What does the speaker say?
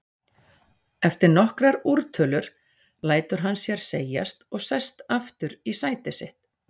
Eftir nokkrar úrtölur lætur hann sér segjast og sest aftur í sæti sitt.